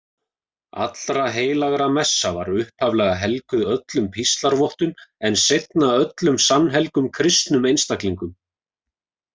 Allraheilagramessa var upphaflega helguð öllum píslarvottum en seinna öllum sannhelgum kristnum einstaklingum.